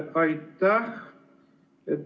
Aitäh!